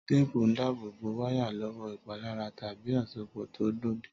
Téèpù ń dábò bó wáyà lówó ìpalára tàbí àsopò tó lòdì